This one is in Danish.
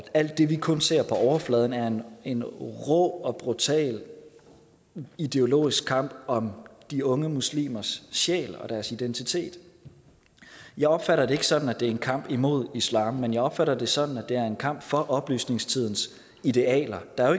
alt det vi kun ser på overfladen er en rå og brutal ideologisk kamp om de unge muslimers sjæl og deres identitet jeg opfatter det ikke sådan at det er en kamp imod islam men jeg opfatter det sådan at det er en kamp for oplysningstidens idealer der er